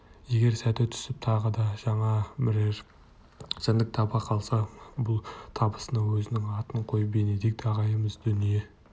егер сәті түсіп тағы да жаңа бірер жәндік таба қалса бұл табысына өзінің атын қойып бенедикт ағайымыз дүние